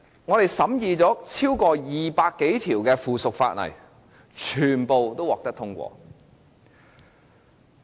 本會審議了超過200項附屬法例，全部均獲得通過。